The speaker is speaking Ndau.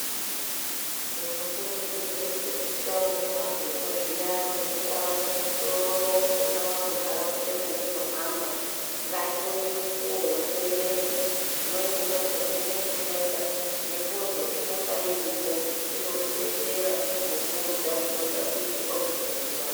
Tinokurudzirwe kuti taone maphepha zviyani mungaa muzvitoro mungaa munharaunda matinohamba ngatione mukuwo wekuerenga. Umweni unotihandine kufunda mifodho inonga iripo inokudetsera kukuudza zvinoda kuitwa kudziirira....